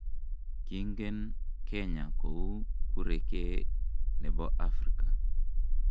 Kingen Kenya kou kurekee ne bo Afrika.